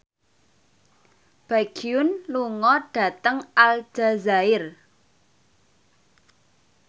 Baekhyun lunga dhateng Aljazair